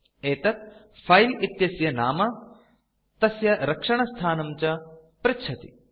एतत् फिले इत्यस्य नाम तस्य रक्षणस्थानं च पृच्छति